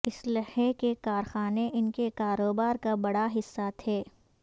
اسلحے کے کارخانے ان کے کاروبار کا بڑا حصہ تھے